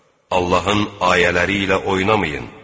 Allahın ayələri ilə oynamayın.